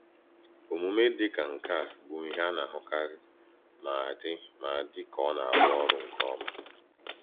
Omume dịka nke a bụ ihe a na-ahụkarị ma dị ma dị ka ọ na-arụ ọrụ nke ọma.